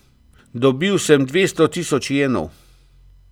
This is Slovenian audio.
Dobil sem dvesto tisoč jenov.